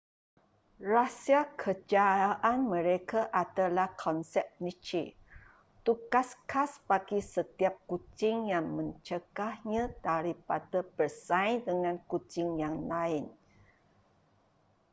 rahsia kejayaan mereka adalah konsep niche tugas khas bagi setiap kucing yang mencegahnya daripada bersaing dengan kucing yang lain